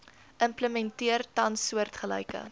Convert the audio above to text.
implementeer tans soortgelyke